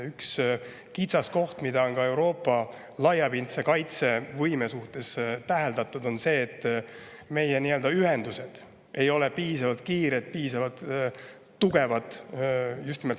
Üks kitsaskoht, mida on Euroopa laiapindse kaitsevõime suhtes täheldatud, on see, et meie ühendused ei ole piisavalt kiired ega piisavalt tugevad.